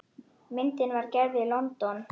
Myndin var gerð í London.